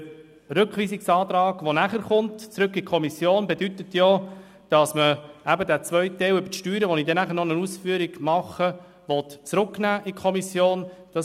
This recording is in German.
Der nachher zu anstehende Antrag auf Rückweisung in die Kommission bedeutet nämlich, dass man den zweiten Teil über die Steuern, zu dem ich später noch Ausführungen machen werde, in die Kommission zurücknehmen will.